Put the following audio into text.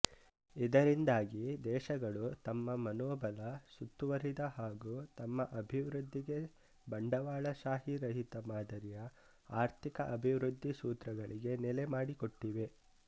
ಇದರಿಂದಾಗಿ ದೇಶಗಳು ತಮ್ಮ ಮನೋಬಲ ಸುತ್ತುವರಿದ ಹಾಗೂ ತಮ್ಮ ಅಭಿವೃದ್ಧಿಗೆ ಬಂಡವಾಳಶಾಹಿರಹಿತ ಮಾದರಿಯ ಆರ್ಥಿಕ ಅಭಿವೃದ್ಧಿ ಸೂತ್ರಗಳಿಗೆ ನೆಲೆ ಮಾಡಿಕೊಟ್ಟಿವೆ